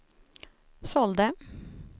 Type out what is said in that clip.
sålde